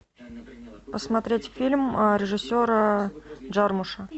посмотреть фильм режиссера джармуша